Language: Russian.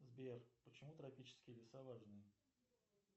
сбер почему тропические леса важны